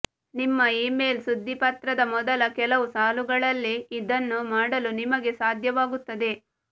ನಿಮ್ಮ ಇಮೇಲ್ ಸುದ್ದಿಪತ್ರದ ಮೊದಲ ಕೆಲವು ಸಾಲುಗಳಲ್ಲಿ ಇದನ್ನು ಮಾಡಲು ನಿಮಗೆ ಸಾಧ್ಯವಾಗುತ್ತದೆ